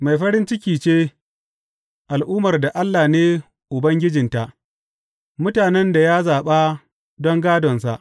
Mai farin ciki ce al’ummar da Allah ne Ubangijinta, mutanen da ya zaɓa don gādonsa.